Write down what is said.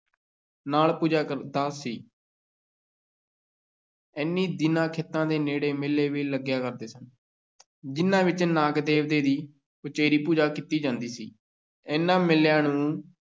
ਨਾਗ ਪੂਜਾ ਕਰਦਾ ਸੀ ਇਹਨੀਂ ਦਿਨੀਂ ਖੇਤਾਂ ਦੇ ਨੇੜੇ ਮੇਲੇ ਵੀ ਲੱਗਿਆ ਕਰਦੇ ਸਨ, ਜਿਨ੍ਹਾਂ ਵਿੱਚ ਨਾਗ ਦੇਵਤੇ ਦੀ ਉਚੇਰੀ ਪੂਜਾ ਕੀਤੀ ਜਾਂਦੀ ਸੀ, ਇਹਨਾਂ ਮੇਲਿਆਂ ਨੂੰ